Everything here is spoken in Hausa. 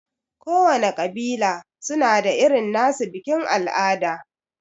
Kowana ƙabila suna da irin nasu bikin al'ada.